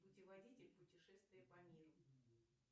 путеводитель путешествия по миру